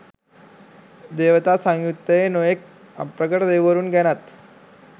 දේවතා සංයුත්තයේ නොයෙක් අප්‍රකට දෙවිවරුන් ගැනත්